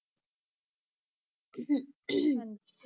ਹਾਂਜੀ।